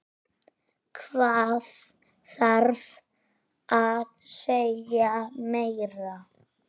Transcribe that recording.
Hvað þarf að segja meira?